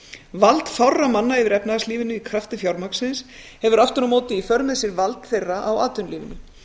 vald fárra manna yfir efnahagslífinu í krafti fjármagnsins hefur aftur á móti í för með sér vald þeirra á atvinnulífinu